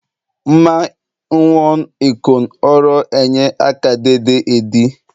Mma n̄n̄wọn̄ ikọn̄ oro enye akadade edi